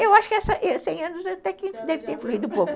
Eu acho que c em anos até que deve ter fluído pouco